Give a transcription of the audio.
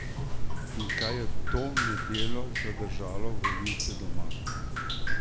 In kaj je to nedeljo zadržalo volivce doma?